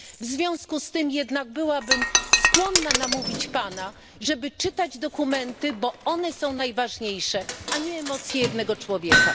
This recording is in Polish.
W związku z tym jednak byłabym skłonna namówić Pana, żeby czytał Pan dokumenty, bo one są najważniejsze, a nie emocje jednego człowieka.